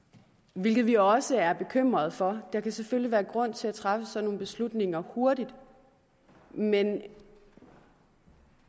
hvilket vi også er bekymret for der kan selvfølgelig være grund til at træffe sådan nogle beslutninger hurtigt men